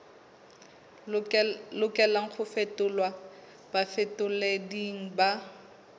lokelang ho fetolelwa bafetoleding ba